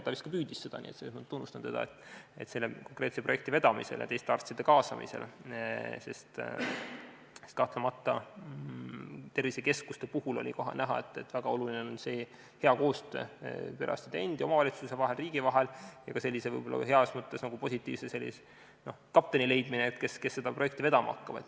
Ta vist püüdiski seda teha, nii et selles mõttes ma tunnustan teda selle konkreetse projekti vedamise ja teiste arstide kaasamise eest, sest kahtlemata tervisekeskuste puhul oli kohe näha, kui oluline on hea koostöö perearstide endi, kohaliku omavalitsuse ja riigi vahel, ning kui tähtis võib olla sellise heas mõttes positiivse kapteni leidmine, kes seda projekti vedama hakkab.